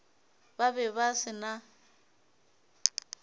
ba be ba se na